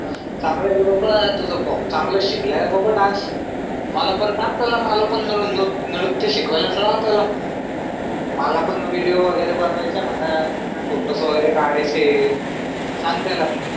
चंगलंय रे बाबा तुझाच भाऊ तुझा चांगलाच शिकलाय बाबा डान्स मला पण सांग त्याला नृत्य नृत्य शिकवायला लाव त्याला मला पण विडिओ वगैरेमला बनवायचा म्हणा फोटोस वगैरे काढायांचे सांग त्याला